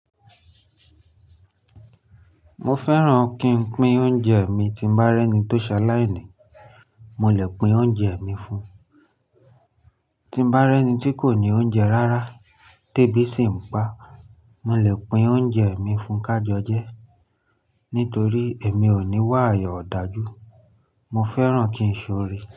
Mo fẹ́ràn kí n pín oúnjẹ mi tí bá rẹ́ni tó ṣa láìní, mo lè pín oúnjẹ mi fún. Tín bá rẹ́ni tí kò ní oúnjẹ rárá, tébì sì ń pa, mo lè pín oúnjẹ mi fún ká jojẹ́. Nítorí èmi ò ní wà eyan ọ̀dájú, mo fẹ́ràn kí n ṣọ́rí.